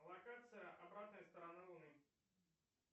локация обратная сторона луны